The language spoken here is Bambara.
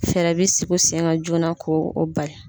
Fɛɛrɛ bɛ sigi sen kan joona ko o bali.